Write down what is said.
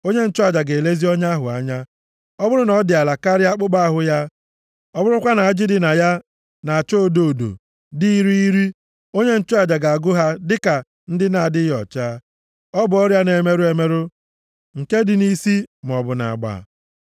onye nchụaja ga-elezi ọnya ahụ anya. Ọ bụrụ na ọ dị ala karịa akpụkpọ ahụ ya, ọ bụrụkwa na ajị dị na ya na-acha odo odo dị irighiri, onye nchụaja ga-agụ ha dịka ndị na-adịghị ọcha. Ọ bụ ọrịa na-emerụ emerụ nke dị nʼisi maọbụ nʼagba.